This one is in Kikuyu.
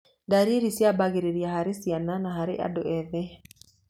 Ndariri ciambagĩrĩria harĩ ciana na harĩ andũ ethĩ.